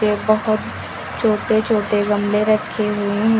बहोत छोटे छोटे गमले रखे हुए हैं।